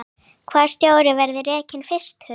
Hvaða stjóri verður rekinn fyrstur?